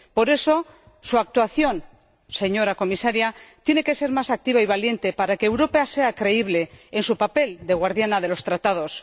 Por eso, su actuación, señora Comisaria, tiene que ser más activa y valiente para que Europa sea creíble en su papel de guardiana de los Tratados.